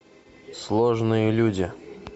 сложные люди